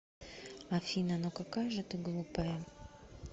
афина ну какая же ты глупая